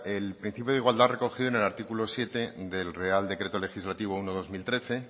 el principio de igualdad recogido en el artículo siete del real decreto legislativo uno barra dos mil trece